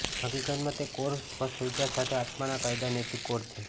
હકીકતમાં તે કોર સ્પષ્ટ વિચાર સાથે આત્મા ના કાયદા નૈતિક કોડ છે